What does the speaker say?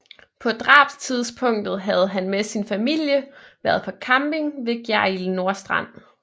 På drabstidspunktet havde han med sin familie været på camping ved Gjerrild Nordstrand